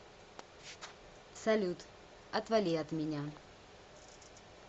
салют отвали от меня